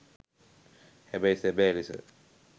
හැබැයි සැබෑ ලෙස